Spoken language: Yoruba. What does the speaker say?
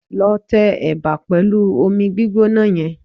Lọ tẹ ẹ̀bà pẹ̀lú omi gbígbóná yẹn